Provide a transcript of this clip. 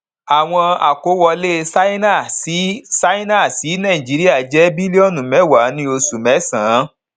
àwọn àkówọlé ṣáínà sí ṣáínà sí nàìjíríà jẹ bílíọnù mẹwàá ní oṣù mẹ́sàn án